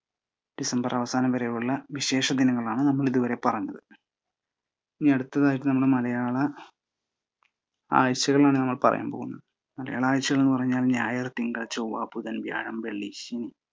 December അവസാനം വരെയുള്ള വിശേഷ ദിനങ്ങളാണ് നമ്മൾ ഇതുവരെ പറഞ്ഞത്. ഇനി അടുത്തതായിട്ട് മലയാള ആഴ്ചകളാണ് പറയാൻ പോകുന്നത്. മലയാള ആഴ്ചകൾ എന്ന് പറഞ്ഞാല് ഞായർ, തിങ്കൾ, ചൊവ്വ, ബുധൻ, വ്യാഴം, വെള്ളി, ശനി